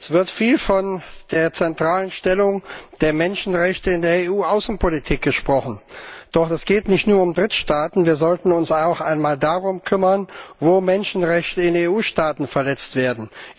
Es wird viel von der zentralen Stellung der Menschenrechte in der EU Außenpolitik gesprochen. Doch es geht nicht nur um Drittstaaten, wir sollten uns auch einmal darum kümmern, wo Menschenrechte in EU Staaten verletzt werden.